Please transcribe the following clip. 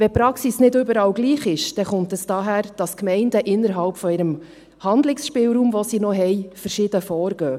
Wenn die Praxis nicht überall gleich ist, dann kommt dies daher, dass die Gemeinden innerhalb ihres Handlungsspielraums, den sie noch haben, verschieden vorgehen.